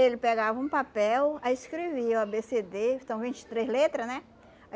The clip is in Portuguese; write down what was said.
Ele pegava um papel, aí escrevia o a bê cê dê, são vinte e três letras, né?